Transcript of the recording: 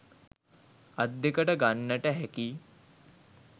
අත් දෙකට ගන්නට හැකි